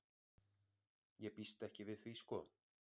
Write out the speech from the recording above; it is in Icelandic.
Ég býst ekki við því sko.